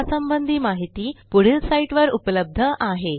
यासंबंधी माहिती पुढील साईटवर उपलब्ध आहे